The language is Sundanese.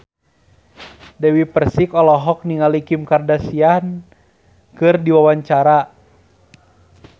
Dewi Persik olohok ningali Kim Kardashian keur diwawancara